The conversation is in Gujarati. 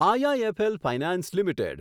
IIFL finance limited